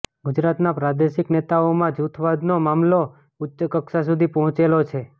ગુજરાતના પ્રાદેશિક નેતાઓમાં જૂથવાદનો મામલો ઉચ્ચકક્ષા સુધી પહોંચેલો છે